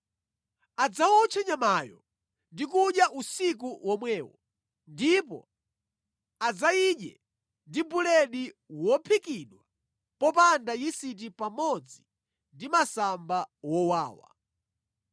Adzawotche nyamayo ndi kudya usiku womwewo, ndipo adzayidye ndi buledi wophikidwa popanda yisiti pamodzi ndi masamba wowawa.